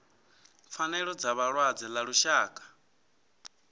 pfanelo dza vhalwadze ḽa lushaka